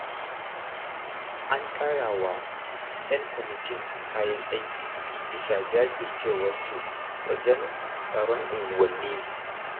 An ƙarawa 'yan kwamitin kayan aiki, bisa jajircewarsu wajen tsaron unguwanni.